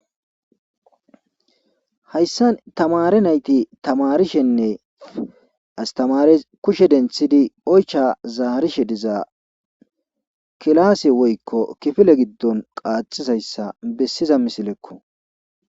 hayssa tamare nayti tamarishenne astamare kushe denthidi oycha zaarishe diza kilaase woykko kifile giddon qaaxizayssa bessiza misilekko